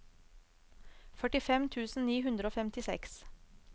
førtifem tusen ni hundre og femtiseks